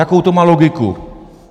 Jakou to má logiku?